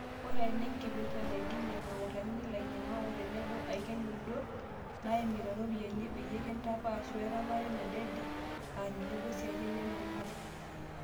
Eeta ena enkipirta naidimia nakurakini ilanyiangak o tenebo aiken udot naaimita iropiyani peyie kintapash werepare nadede, aa tenebo isiatin nemenare.